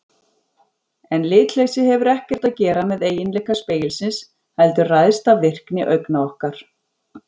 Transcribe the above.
En litleysið hefur ekkert að gera með eiginleika spegilsins heldur ræðst af virkni augna okkar.